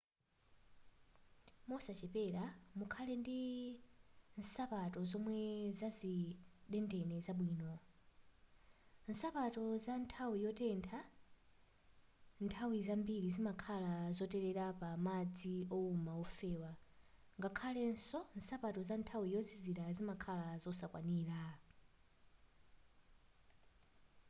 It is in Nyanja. mosachepera mukhale ndi nsapato zomwe zazidendene zabwino nsapato za nthawi yotentha nthawi zambiri zimakhala zotelera pa madzi wowuma ofewa ngakhaleso nsapato za nthawi yozizira zimakhala zosakwanira